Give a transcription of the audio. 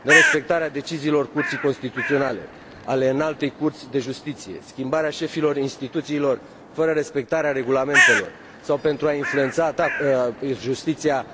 Nerespectarea deciziilor Curții Constituționale, ale Înaltei Curți de Justiție și Casație, schimbarea șefilor instituțiilor fără respectarea regulamentelor sau pentru a influența justiția,